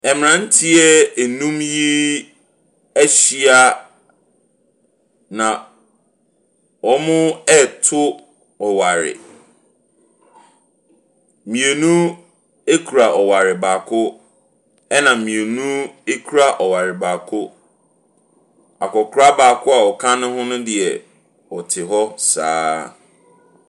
Mmranteɛ num yi ahyia na wɔreto ɔware. Mmienu kura ɔware baako na mmienu kura ɔware baako. Akwakora baako a ɔka ho ho deɛ, ɔte hɔ saa ara.